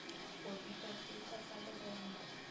bo pipa seetša sa lebone